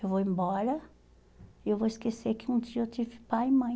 Eu vou embora e eu vou esquecer que um dia eu tive pai e mãe.